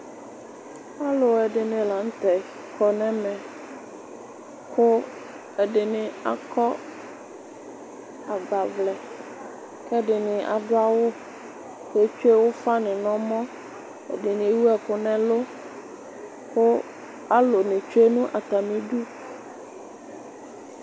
Aluɛdini la nu tɛ kɔnu ɛmɛ ku ɛdini akɔ agbavlɛ kɛdini adu awu ketsue ufa nu nɛmɔ ɛdini ewu ɛku nɛlu ku alu nu etsue nu atamidu